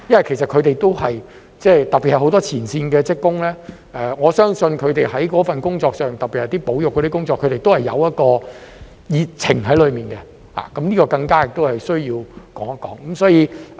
其實他們特別是很多前線職工，我相信在這份工作上，特別是保育工作，他們內裏都有一份熱情，所以這個更加需要一提。